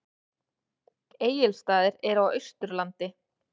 Egilsstaðir eru á Austurlandi.